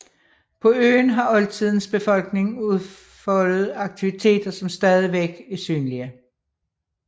På øen har oldtidens befolkning udfoldet aktiviteter som stadigvæk er synlige